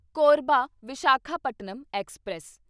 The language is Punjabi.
ਕੋਰਬਾ ਵਿਸ਼ਾਖਾਪਟਨਮ ਐਕਸਪ੍ਰੈਸ